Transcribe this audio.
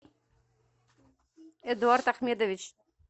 эдуард ахмедович